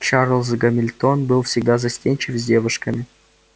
чарлз гамильтон был всегда застенчив с девушками